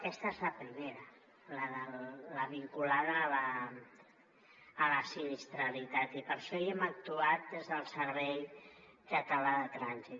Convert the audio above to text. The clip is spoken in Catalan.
aquesta és la primera la vinculada a la sinistralitat i per això hi hem actuat des del servei català de trànsit